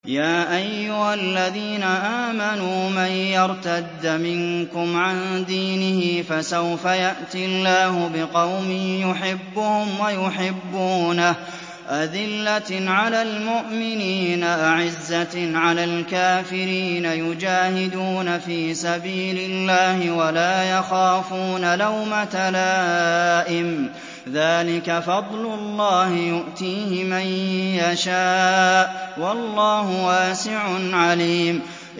يَا أَيُّهَا الَّذِينَ آمَنُوا مَن يَرْتَدَّ مِنكُمْ عَن دِينِهِ فَسَوْفَ يَأْتِي اللَّهُ بِقَوْمٍ يُحِبُّهُمْ وَيُحِبُّونَهُ أَذِلَّةٍ عَلَى الْمُؤْمِنِينَ أَعِزَّةٍ عَلَى الْكَافِرِينَ يُجَاهِدُونَ فِي سَبِيلِ اللَّهِ وَلَا يَخَافُونَ لَوْمَةَ لَائِمٍ ۚ ذَٰلِكَ فَضْلُ اللَّهِ يُؤْتِيهِ مَن يَشَاءُ ۚ وَاللَّهُ وَاسِعٌ عَلِيمٌ